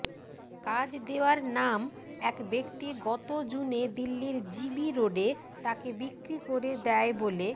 কাজ দেওয়ার নাম এক ব্যক্তি গত জুনে দিল্লির জিবি রোডে তাঁকে বিক্রি করে দেয় বলে